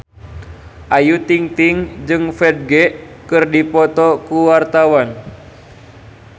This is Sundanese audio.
Ayu Ting-ting jeung Ferdge keur dipoto ku wartawan